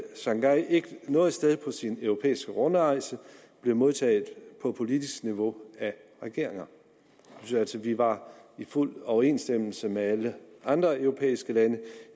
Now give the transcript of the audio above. sangay ikke noget sted på sin europæiske rundrejse blev modtaget på politisk niveau af regeringer vi var i fuld overensstemmelse med alle andre europæiske lande